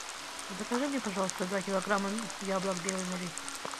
закажи мне пожалуйста два килограмма яблок белый налив